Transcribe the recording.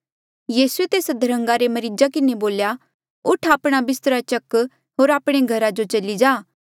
यीसूए तेस अध्रन्गा रे मरीजा किन्हें बोल्या उठ आपणा बिस्त्रा चक होर आपणे घरा जो चली जा